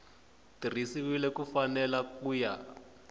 tirhisiwile hi mfanelo ku ya